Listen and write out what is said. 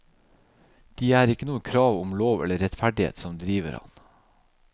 De er ikke noe krav om lov eller rettferdighet som driver ham.